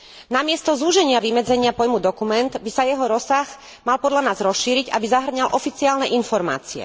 Namiesto zúženia vymedzenia pojmu dokument by sa jeho rozsah mal podľa nás rozšíriť, aby zahŕňal oficiálne informácie.